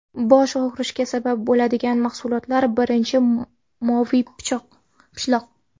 Bosh og‘rishiga sabab bo‘ladigan mahsulotlar Birinchisi moviy pishloq .